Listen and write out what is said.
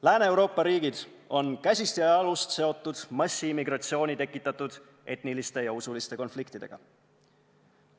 Lääne-Euroopa riigid on käsist ja jalust seotud massiimmigratsiooni tekitatud etniliste ja usuliste konfliktidega.